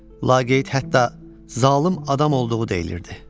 Laqeyd hətta zalım adam olduğu deyilirdi.